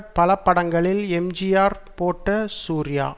பல படங்களில் எம்ஜிஆர் போட்ட சூர்யா